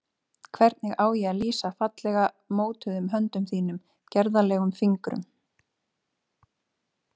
Hvernig á ég að lýsa fallega mótuðum höndum þínum, gerðarlegum fingrum?